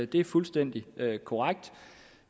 det er fuldstændig korrekt